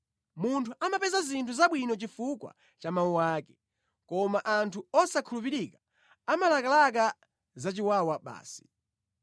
Munthu amapeza zinthu zabwino chifukwa cha mawu ake, koma anthu osakhulupirika amalakalaka zachiwawa basi.